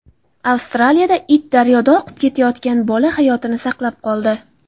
Avstraliyada it daryoda oqib ketayotgan bola hayotini saqlab qoldi.